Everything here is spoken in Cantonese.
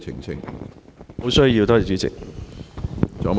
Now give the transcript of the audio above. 沒有需要，多謝主席。